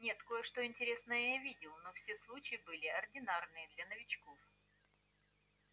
нет кое-что интересное я видел но все случаи были ординарные для новичков